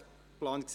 Ergänzung zu Ziel